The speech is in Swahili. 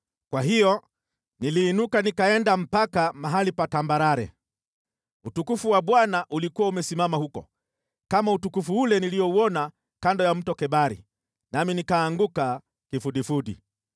Kwa hiyo niliinuka nikaenda mpaka mahali pa tambarare. Utukufu wa Bwana ulikuwa umesimama huko, kama utukufu ule niliouona kando ya Mto Kebari, nami nikaanguka kifudifudi.